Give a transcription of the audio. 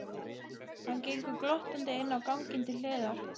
Hann gengur glottandi inn á ganginn til hliðar.